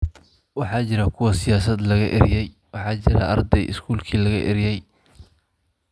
Waxaa jira kuwa siyaasad laga eryay, waxaa jira arday iskuulkii laga eryay.